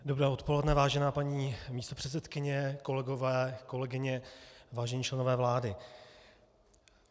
Dobré odpoledne, vážená paní místopředsedkyně, kolegové, kolegyně, vážení členové vlády.